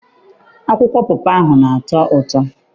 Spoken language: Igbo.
Akwụkwọ pọpọ ana atọ ụtọ?